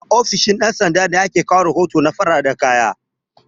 A ofishin ɗan sanda ne ake kai rahoton na fararan kaya